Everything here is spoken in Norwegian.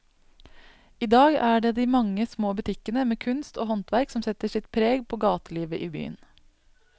I dag er det de mange små butikkene med kunst og håndverk som setter sitt preg på gatelivet i byen.